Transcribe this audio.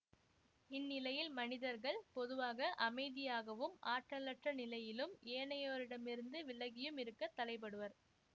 இந்நிலையில் மனிதர்கள் பொதுவாக அமைதியாகவும் ஆற்றலற்ற நிலையிலும் ஏனையோரிடமிருந்து விலகியும் இருக்க தலைப்படுவர்